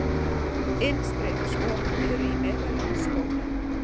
Innstreymisop eru í meðallagi stór.